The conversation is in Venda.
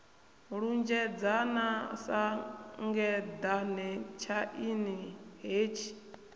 lunzhedzana sa ngeḓane tshaini hetshi